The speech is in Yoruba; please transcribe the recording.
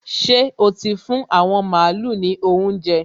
Ṣé o ti fún àwọn màálu ní óuńjẹ?